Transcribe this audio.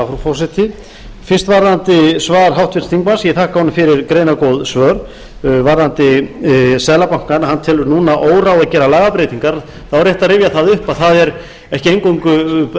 frú forseti fyrst varðandi svar háttvirts þingmanns ég þakka honum fyrir greinargóð svör varðandi seðlabankann hann telur núna óráð að gera lagabreytingar þá er rétt að rifja það upp að það er ekki eingöngu